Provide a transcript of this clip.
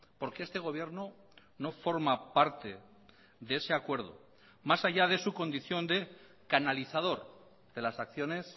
porque este gobierno no forma parte de ese acuerdo más allá de su condición de canalizador de las acciones